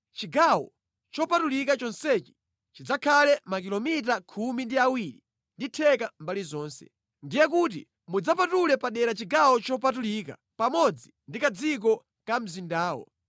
Chigawo chopatulika chonsechi chidzakhale makilomita khumi ndi awiri ndi theka mbali zonse. Ndiye kuti, mudzapatule padera chigawo chopatulika pamodzi ndi kadziko ka mzindawo.